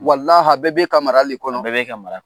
a bɛɛ b'e ka mara le kɔnɔ, bɛɛ b'e ka mara